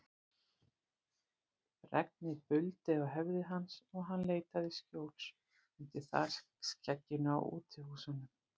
Regnið buldi á höfði hans og hann leitaði skjóls undir þakskegginu á útihúsunum.